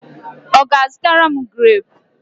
Ọ ga-azụtara m greepu?